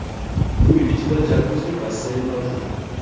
Uy ichida jakuzi, basseyn mavjud.